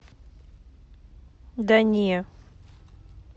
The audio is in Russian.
да не